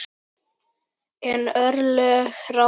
En örlög ráða.